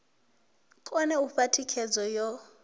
kone u fha thikhedzo yo